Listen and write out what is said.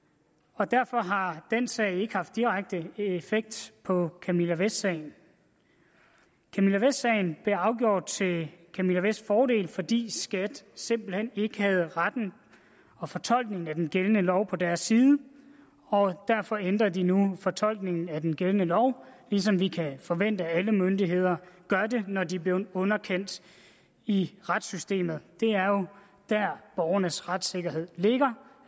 og derfor har den sag ikke haft direkte effekt på camilla vest sagen camilla vest sagen blev afgjort til camilla vests fordel fordi skat simpelt hen ikke havde retten og fortolkningen af den gældende lov på deres side og derfor ændrer de nu fortolkningen af den gældende lov ligesom vi kan forvente at alle myndigheder gør det når de er blevet underkendt i retssystemet det er jo der borgernes retssikkerhed ligger